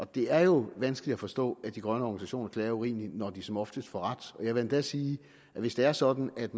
det er jo vanskeligt at forstå at de grønne organisationer klager urimeligt når de som oftest får ret og jeg vil endda sige at hvis det er sådan at